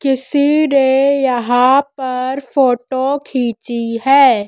किसी ने यहां पर फोटो खींची है।